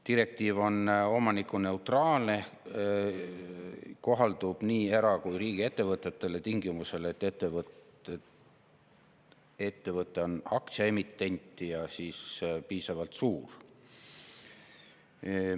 Direktiiv on omanikuneutraalne ehk kohaldub nii era- kui ka riigiettevõtetele tingimusel, et ettevõte on aktsiaemitent ja piisavalt suur.